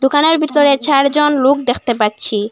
দোকানের ভিতরে চারজন লুক দেকতে পাচ্ছি।